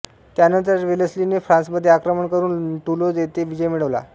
त्यानंतर वेलस्लीने फ्रांसमध्ये आक्रमण करून टुलोज येथे विजय मिळवला